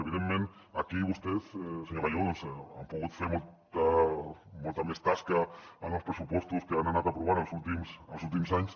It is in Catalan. evidentment aquí vostès senyor gallego han pogut fer molta més tasca en els pressupostos que han anat aprovant els últims anys